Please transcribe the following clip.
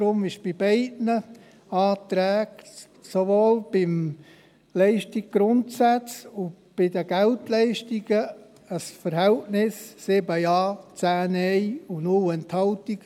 Deshalb gab es bei beiden Anträgen – sowohl bei jenem zu den Leistungsgrundsätzen als auch bei jenem zu den Geldleistungen – ein Stimmenverhältnis von 7 Ja zu 10 Nein bei 0 Enthaltungen.